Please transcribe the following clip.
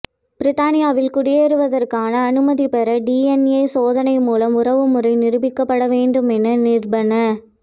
பிரித்தானியாவில் குடியேறுவதற்கான அனுமதிபெற டிஎன்ஏ சோதனை மூலம் உறவுமுறை நிரூபிக்கப்படவேண்டுமென நிர்பந